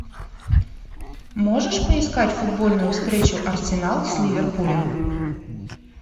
можешь поискать футбольную встречу арсенал с ливерпулем